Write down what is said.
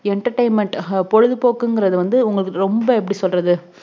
entertainment அஹ் பொழுதுபோக்குங்குறது வந்து ரொம்ப எப்டி சொல்ல்றது